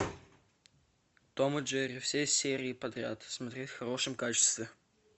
том и джерри все серии подряд смотреть в хорошем качестве